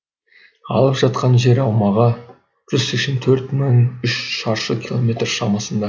алып жатқан жер аумағы жүз сексен төрт мың үш шаршы километр шамасында